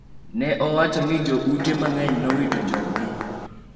ne owacho ni jo ute mang’eny nowito jog-gi,